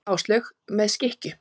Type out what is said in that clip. Áslaug: Með skikkju.